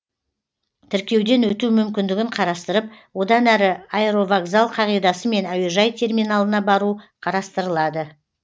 тіркеуден өту мүмкіндігін қарастырып одан әрі аэровокзал қағидасымен әуежай терминалына бару қарастырылады